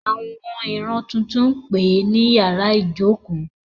Àwọn ìran tuntun ń pè ní ín yàrá ìjókòó.